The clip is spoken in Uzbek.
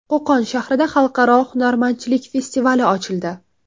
Qo‘qon shahrida Xalqaro hunarmandchilik festivali ochildi.